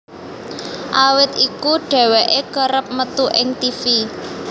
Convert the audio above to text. Awit iku dheweké kerep metu ing tivi